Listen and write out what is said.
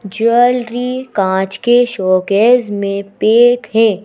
Jewellery कांच के showcase में पेक है।